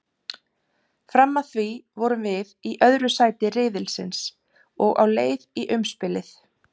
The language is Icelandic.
Fram að því vorum við í öðru sæti riðilsins og á leið í umspilið.